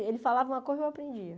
Ele falava uma coisa e eu aprendia.